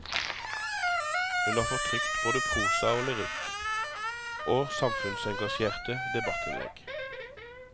Hun har fått trykt både prosa og lyrikk, og samfunnsengasjerte debattinnlegg.